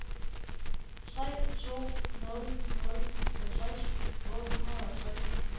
tre to nul nul halvtreds otte hundrede og tre